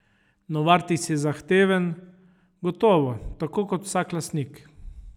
Novartis je zahteven, gotovo, tako kot vsak lastnik.